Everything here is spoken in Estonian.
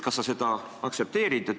Kas sa seda aktsepteerid?